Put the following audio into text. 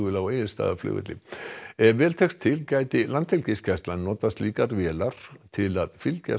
á Egilsstaðaflugvelli ef vel tekst til gæti Landhelgisgæslan notað slíkar vélar til að fylgjast